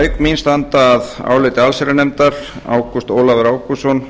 auk mín standa að áliti allsherjarnefndar háttvirtir þingmenn ágúst ólafur ágústsson